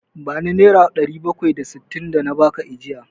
Bani Naira ɗari bakwai da sittin da na baki ajiya!